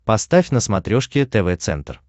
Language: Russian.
поставь на смотрешке тв центр